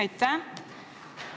Aitäh!